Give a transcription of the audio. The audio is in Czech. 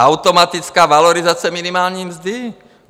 Automatická valorizace minimální mzdy?